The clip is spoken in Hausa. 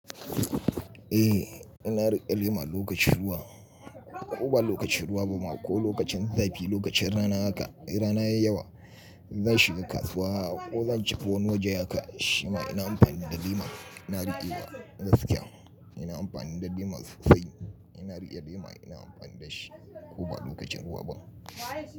Eh, ina rike lema lokaci wan, ko ba lokacin ruwa bama ko lokacin zafi lokacin rana haka in rana yayi yawa zan shiga kasuwa ko zan shiga wani waje haka shima ina amfani da lema. Ina riƙe wa gaskiya ina amfani da lema sosai. Ina riƙe lema ina amfani da shi ko ba lokacin ruwa ba.